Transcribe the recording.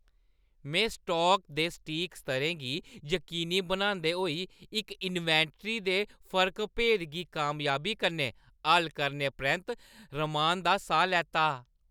मैं स्टाक दे सटीक स्तरें गी यकीनी बनांदे होई इक इन्वेंटरी दे फर्क-भेद गी कामयाबी कन्नै हल करने परैंत्त रमान दा साह् लैता।